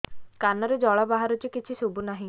କାନରୁ ଜଳ ବାହାରୁଛି କିଛି ଶୁଭୁ ନାହିଁ